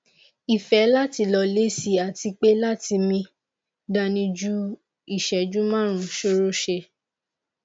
ife lati lo le si ati pe lati mi dani ju iseju marun sorose